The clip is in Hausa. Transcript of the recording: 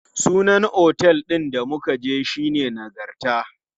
Sunan otel ɗin da muka je shine Nagarta.